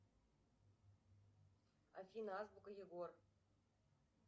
афина азбука егор